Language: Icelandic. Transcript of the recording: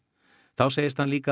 þá segist hann líka